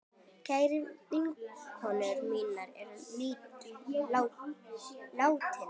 Kær vinkona mín er látin.